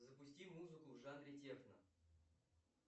запусти музыку в жанре техно